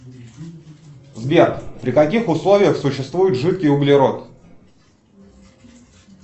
сбер при каких условиях существует жидкий углерод